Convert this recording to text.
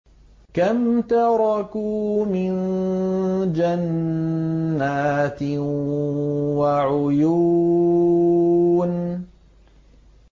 كَمْ تَرَكُوا مِن جَنَّاتٍ وَعُيُونٍ